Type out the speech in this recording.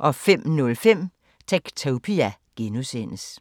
05:05: Techtopia (G)